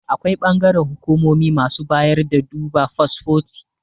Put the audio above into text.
Akwai bangaren hukumomi masu bayar da duba fasfoti